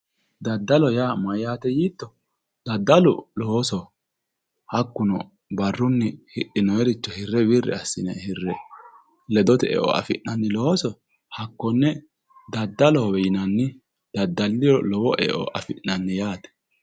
Daddallo yaa mayate yiitto, daddallu loosoho hakkuno barrunni hidhinoniricho wirri assine hirre ledote eo affi'nanni looso hakkone daddalloho yinnanni, daddaliro lowo eo affi'nanni yaate.